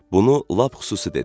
Bunu lap xüsusi dedi.